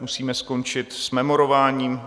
Musíme skončit s memorováním.